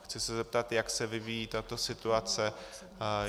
Chci se zeptat, jak se vyvíjí tato situace.